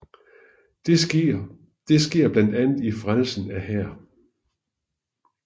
Det sker blandt andet i Frelsen af her